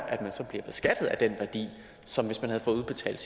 at man så bliver beskattet af den værdi som hvis man havde fået udbetalt